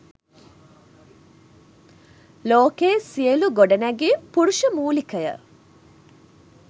ලෝකයේ සියළු ගොඩනැඟිම් පුරුෂ මූලිකය.